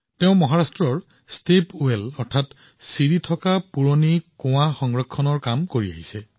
তেওঁ মহাৰাষ্ট্ৰৰ শ শ চিৰি অৰ্থাৎ খটখটিৰ সৈতে থকা পুৰণি কুঁৱাৰ সংৰক্ষণৰ বাবে প্ৰচাৰ চলাই আছে